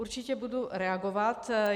Určitě budu reagovat.